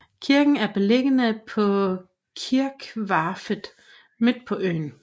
Kirken er beliggende på kirkvarftet midt på øen